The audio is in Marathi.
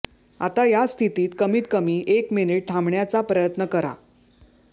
आता या स्थितीत कमीत कमी एक मिनिट थांबण्याचा प्रयत्न करा